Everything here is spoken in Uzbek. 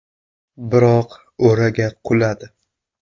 Biroq o‘raga quladi.